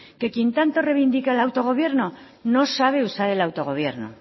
que quien tanto reivindica el autogobierno no sabe usar el autogobierno